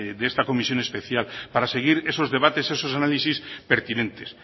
de esta comisión especial para seguir esos debates esos análisis pertinentes